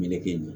Meleke